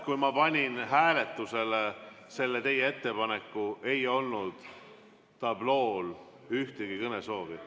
Kui ma panin hääletusele selle teie ettepaneku, ei olnud tablool ühtegi kõnesoovi.